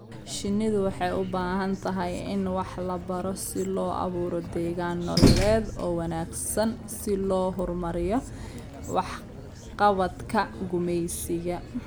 Shinnidu waxay u baahan tahay in wax la baro si loo abuuro deegaan nololeed oo wanaagsan si loo horumariyo waxqabadka gumeysiga.